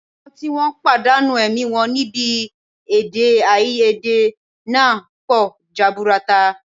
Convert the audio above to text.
Àwọn tí wọ́n pàdánù ẹ̀mí wọn níbi èdèàìyedè náà pọ̀ jaburata